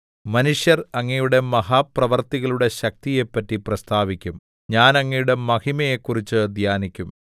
മനുഷ്യർ അങ്ങയുടെ മഹാപ്രവൃത്തികളുടെ ശക്തിയെപ്പറ്റി പ്രസ്താവിക്കും ഞാൻ അങ്ങയുടെ മഹിമയെ കുറിച്ച് ധ്യാനിക്കും